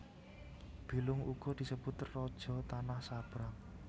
Bilung uga disebut raja tanah sabrang